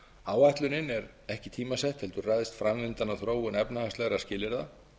áætlunin er ekki tímasett heldur ræðst framvindan af þróun efnahagslegra skilyrða